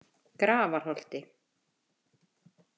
Grafarholti